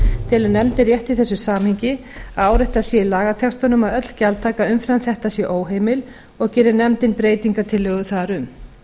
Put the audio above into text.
telur nefndin rétt í þessu samhengi að áréttað sé í lagatextanum að öll gjaldtaka umfram þetta sé óheimil og gerir nefndin breytingartillögu þar um